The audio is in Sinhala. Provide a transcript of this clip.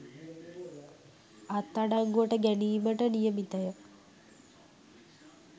අත්අඩංගුවට ගැනීමට නියමිතය